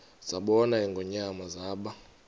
zabona ingonyama zaba